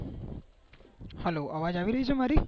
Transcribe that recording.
hello અવાજ આવી રહી છે મારી